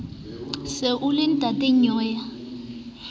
se o le ntata nnyeo